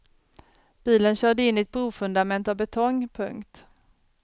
Bilen körde in i ett brofundament av betong. punkt